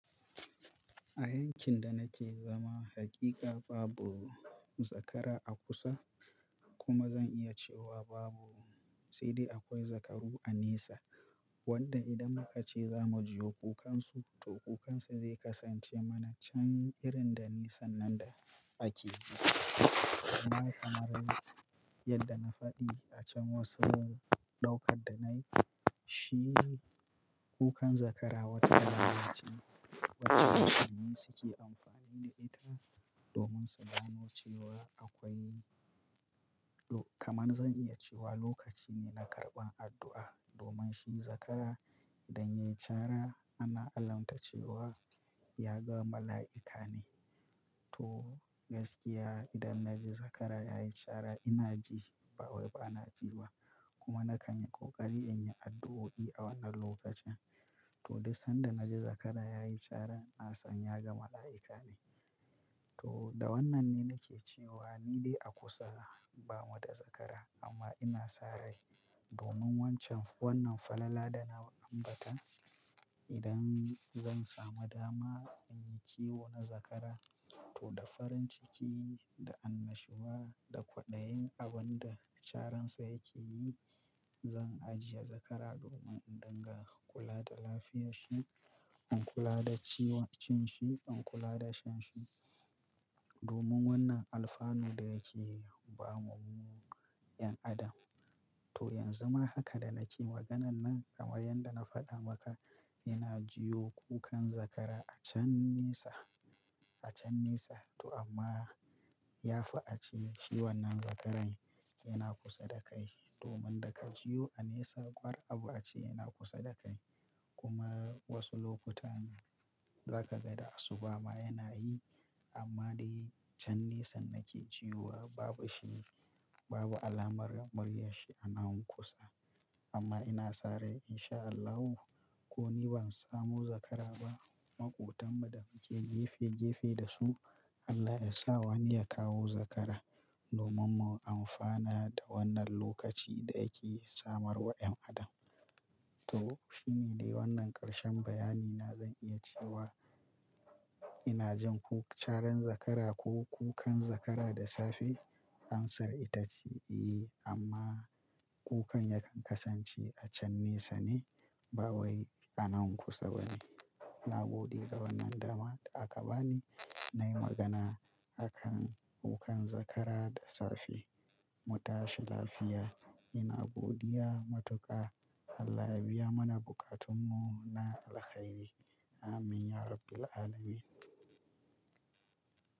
A yankin da nake zama, hakika babu zakara a kusa. Kuma zan iya cewa babu, sai dai akwai zakaru a nesa. Wanda idan muka ce za mu ji kukan su, to kukan su zai kasance mana can irin da nisan nan da ake yi. Amma kamar yadda na faɗi a can wasu ɗaukar da nai shi kukan zakara wata lalaci wacce mutane suke amfani da ita domin su gano cewa akwai-- kamar zan iya cewa lokaci ne na karɓan addu'a domin shi zakara idan yayi cara ana alamta cewa ya ga mala'ika ne. To gaskiya idan na ji zakara yayi cara ina ji ba wai bana ji ba. Kuma na kan yi ƙoƙari in yi addu'o'i a wannan lokacin. To dai sanda na ji zakara yayi cara na san ya ga mala'ika ne. To da wannan ne nake cewa ni dai a kusa ba mu da zakara amma ina sa rai domin wancan-- wannan falala da na ambata idan zan samu dama in yi kiwo na zakara to da farin ciki, da annashuwa, da kwaɗayin abin da caransa yake yi zan ajiye zakara domin in dinga kula da lafiyar shi, in kula da ciwon cin shi, in kula da shan shi. Domin wannan alfanu da yake ba mu mu 'yan adam. To yanzu ma haka da nake maganan nan kamar yadda na faɗa maka ina jiwo kukan zakara a can nesa, a can nesa. To amma ya fi a ce shi wannan zakaran yana kusa da kai domin da ka jiwo a nesa kwar abu a ce yana kusa da kai. Kuma wasu lokutan za ka ga da asuba ma yana yi. Amma dai can nisan nake jiwo babu shi, babu alamar muryar shi a nan kusa. Amma ina sa rai in sha Allahu ko ni ban samu zakara ba maƙotan mu da muke gefe gefe da su Allah ya sa wani ya kawo zakara domin mu amfana da wannan lokaci da yake samarwa 'yan adam. To shine dai wannan ƙarshen bayani na zan iya cewa ina jin ko caran zakara ko kukan zakara da safe. Answer ita ce eh amma kukan yakan kasance a can nesa ne ba wai a nan kusa bane. Na gode ga wannan dama aka bani nayi magana a kan kukan zakara da safe. Mu tashi lafiya. Ina godiya matuƙa. Allah ya biya mana buƙatun mu na alkhairi. Amin ya Rabbal Alamin.